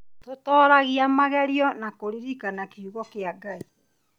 Tũtoragia magerio na kũririkana kiugo kĩa Ngai